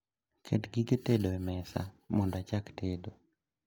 Ket gige tedo e mesa mondo achak tedo